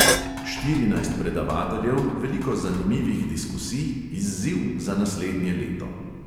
Štirinajst predavateljev, veliko zanimivih diskusij, izziv za naslednje leto.